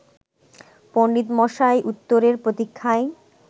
পণ্ডিতমশাই উত্তরের প্রতীক্ষায়